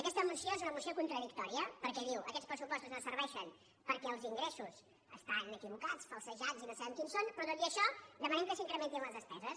aquesta moció és una moció contradictòria perquè diu aquests pressupostos no serveixen perquè els ingressos estan equivocats falsejats i no sabem quins són però tot i això demanem que s’incrementin les despeses